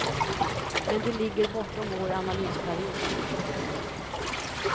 Men det ligger bortom vår analysperiod.